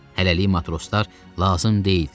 Hələlik matroslar lazım deyildilər.